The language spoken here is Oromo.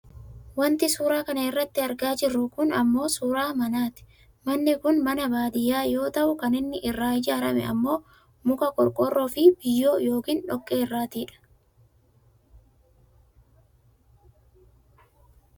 Wanti suuraa kana irratti argaa jirru kun ammoo suuraa mana ti. Manni kun ammoo mana baadiyyaa yoo ta'u kan inni irraa ijaarrame ammoo muka, qorqoorroofi biyyoo yookaan dhoqqee irraati dha.